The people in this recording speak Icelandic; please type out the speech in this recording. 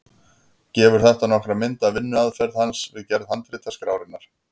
Gefur þetta nokkra mynd af vinnuaðferð hans við gerð handritaskrárinnar.